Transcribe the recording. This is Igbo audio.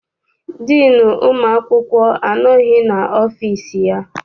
Diinu ụmụ akwụkwọ anọghị n'ọfịịsi ya.